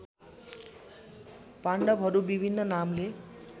पाण्डवहरू विभिन्न नामले